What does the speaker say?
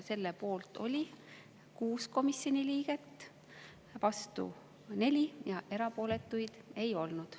Selle poolt oli 6 komisjoni liiget, vastu 4 ja erapooletuid ei olnud.